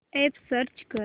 app search कर